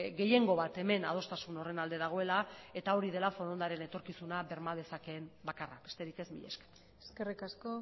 gehiengo bat hemen adostasun horren alde dagoela eta hori dela forondaren etorkizuna berma dezakeen bakarra besterik ez mila esker eskerrik asko